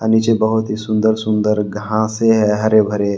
नीचे बहोत ही सुंदर सुंदर घासे है हरे भरे--